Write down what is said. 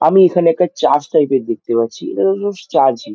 আমি এখানে একটা চার্চ টাইপের দেখতে পাচ্ছি চার্চ ই ।